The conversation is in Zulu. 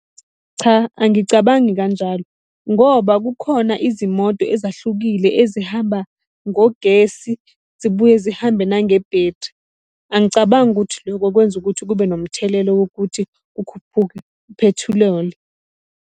Cha, angicabangi kanjalo ngoba kukhona izimoto ezahlukile ezihamba ngogesi, zibuye zihambe nangebhethri. Angicabangi ukuthi loko kwenza ukuthi kube nomthelelo wokuthi kukhuphuke uphethiloli.